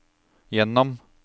gjennom